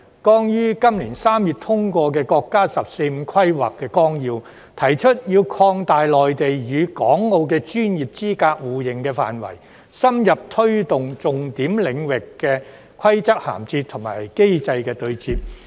剛於今年3月通過的國家《十四五規劃綱要》提出要擴大內地與港澳的專業資格互認範圍，深入推動重點領域的規則銜接和機制的對接。